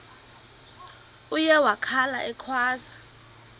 uye wakhala ekhwaza